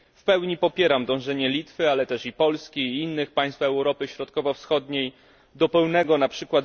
W pełni popieram dążenie Litwy, ale też i Polski i innych państw Europy Środkowo Wschodniej do pełnego np.